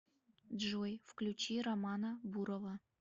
джой включи романа бурова